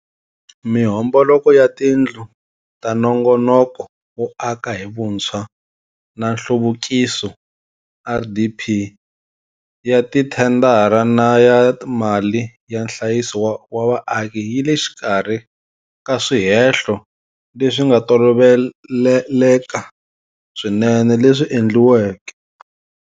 Mihomboloko ya tindlu ta Nongonoko wo aka hi Vuntshwa na Nhluvukiso, RDP, ya tithendara na ya mali ya nhlayiso wa vaaki yi le xikarhi ka swihehlo leswi nga toloveleka swinene leswi endliweke.